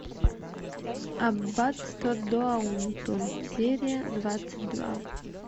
аббатство даунтон серия двадцать два